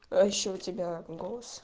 а ещё у тебя голос